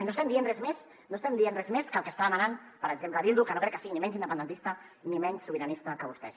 no estem dient res més no estem dient res més que el que està demanant per exemple bildu que no crec que sigui ni menys independentista ni menys sobiranista que vostès